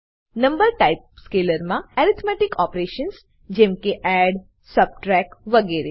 number type સ્કેલરમા arithmetic operations જેમકે add subtract વગરે